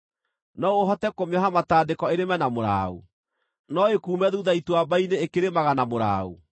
No ũhote kũmĩoha matandĩko ĩrĩme na mũraũ? No ĩkuume thuutha ituamba-inĩ ĩkĩrĩmaga na mũraũ?